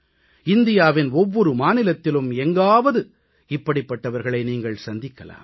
இந்தியாவின் ஒவ்வொரு மாநிலத்திலும் எங்காவது இப்படிப்பட்டவர்களை நீங்கள் சந்திக்கலாம்